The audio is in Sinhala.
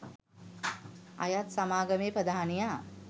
අයත් සමාගමේ ප්‍රධානියා